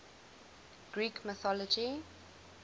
greek mythology